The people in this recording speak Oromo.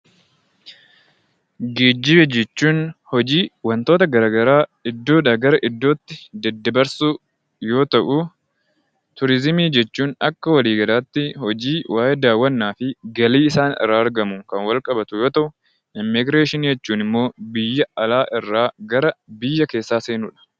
Geejjiba jechuun hojii wantoota garaagaraa iddoo gara iddootti daddabarsuu yoo ta'u, turizimii jechuun Akka walii galaatti hojii waayee daawwannaa fi galii isaarraa argamuun kan wal qabatu yoo ta'u, immiigireeshinii jechuun immoo biyya alaa irraa gara keessaa seenuudha